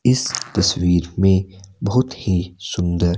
इस तस्वीर में बहुत ही सुंदर--